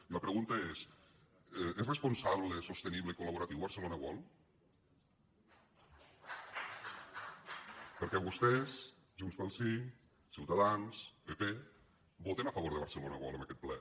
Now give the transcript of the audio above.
i la pregunta és és responsable sostenible i col·laboratiu barcelona world perquè vostès junts pel sí ciutadans pp voten a favor de barcelona world en aquest ple